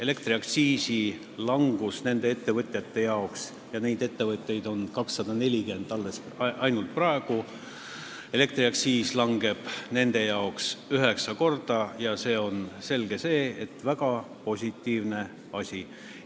Elektriaktsiis langeb nende ettevõtjate jaoks – ja neid ettevõtjaid on alles ainult 240 – üheksa korda ja selge see, et see on väga positiivne asi.